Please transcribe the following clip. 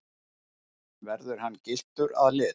Verður hann gylltur að lit